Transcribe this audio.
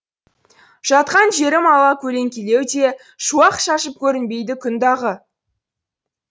жатқан жерім алакөлеңкелеу де шуақ шашып көрінбейді күн дағы